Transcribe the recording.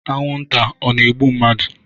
Anwụ nta ọ na-egbu mmadụ?